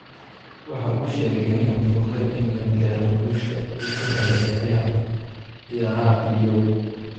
Waxa uu sheegay in aanay fududayn in la gaadho guusha uu ka helay ciyaaraha fiidiyowga.